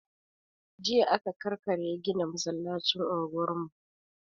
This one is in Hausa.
Jiya aka ƙarkare gina masallacin unguwar mu.